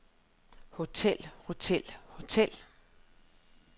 hotel hotel hotel